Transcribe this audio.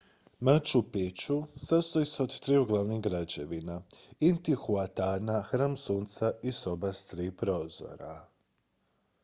machu picchu sastoji se od triju glavnih građevina intihuatana hram sunca i soba s tri prozora